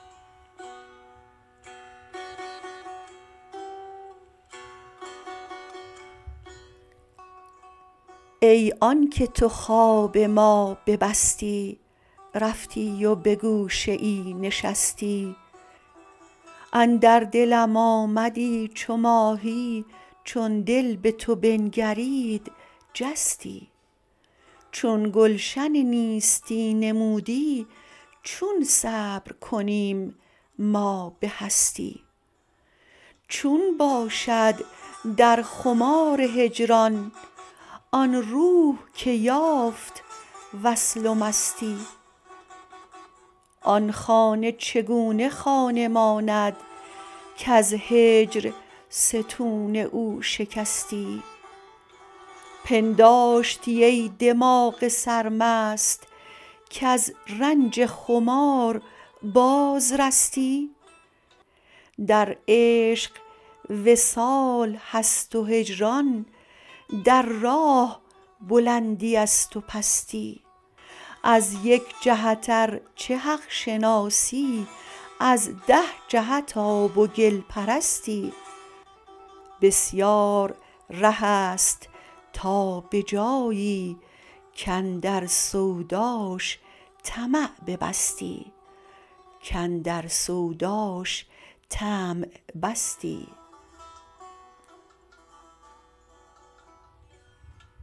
ای آنک تو خواب ما ببستی رفتی و به گوشه ای نشستی اندر دلم آمدی چو ماهی چون دل به تو بنگرید جستی چون گلشن نیستی نمودی چون صبر کنیم ما به هستی چون باشد در خمار هجران آن روح که یافت وصل و مستی آن خانه چگونه خانه ماند کز هجر ستون او شکستی پنداشتی ای دماغ سرمست کز رنج خمار بازرستی در عشق وصال هست و هجران در راه بلندی است و پستی از یک جهت ار چه حق شناسی از ده جهت آب و گل پرستی بسیار ره است تا به جایی کاندر سوداش طمع بستی